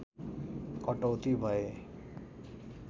कटौती भए